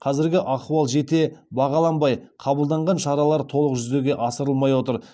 қазіргі ахуал жете бағаланбай қабылданған шаралар толық жүзеге асырылмай отыр